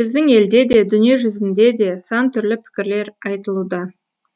біздің елде де дүниежүзінде де сан түрлі пікірлер айтылуда